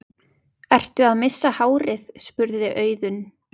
Ertu að missa hárið? spurði Auðunn.